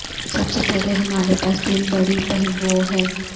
سب سے پہلے ہمارے پاس تین بڑی پہیوں ہیں